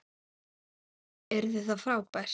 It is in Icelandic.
Yrði það frábært?